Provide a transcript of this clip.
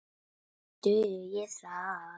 Dugir það?